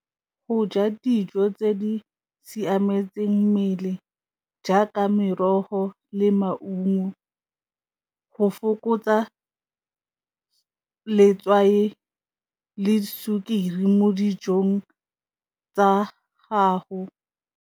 Go ja dijo tse di siametseng mmele jaaka merogo le maungo go fokotsa letswai le sukiri mo dijong tsa gago.